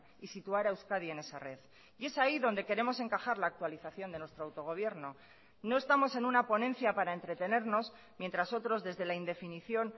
y situar a euskadi en esa red y es ahí donde queremos encajar la actualización de nuestro autogobierno no estamos en una ponencia para entretenernos mientras otros desde la indefinición